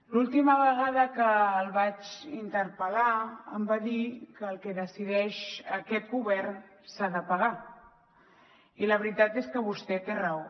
l’última vegada que el vaig interpel·lar em va dir que el que decideix aquest govern s’ha de pagar i la veritat és que vostè té raó